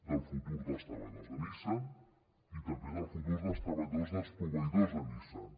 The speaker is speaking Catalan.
del futur dels treballadors de nissan i també del futur dels treballadors dels proveïdors de nissan